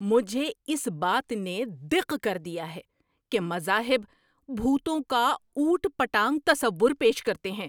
مجھے اس بات نے دق کر دیا ہے کہ مذاہب بھوتوں کا اوٹ پٹانگ تصور پیش کرتے ہیں۔